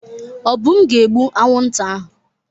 Obum ga-egbu anwụnta ahụ.